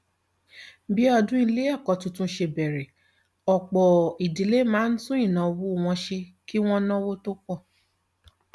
bí ọdún ilé ẹkọ tuntun ṣe bẹrẹ ọpọ ìdílé máa ń tún ìnáwó wọn ṣe kí wọn náwó tó pọ